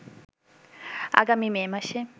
আগামী মে মাসে